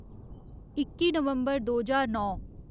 इक्की नवम्बर दो ज्हार नौ